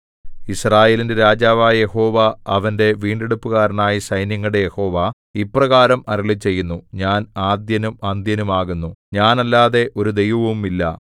യിസ്രായേലിന്റെ രാജാവായ യഹോവ അവന്റെ വീണ്ടെടുപ്പുകാരനായ സൈന്യങ്ങളുടെ യഹോവ ഇപ്രകാരം അരുളിച്ചെയ്യുന്നു ഞാൻ ആദ്യനും അന്ത്യനും ആകുന്നു ഞാനല്ലാതെ ഒരു ദൈവവുമില്ല